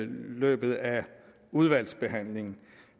løbet af udvalgsbehandlingen